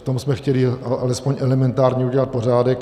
V tom jsme chtěli alespoň elementárně udělat pořádek.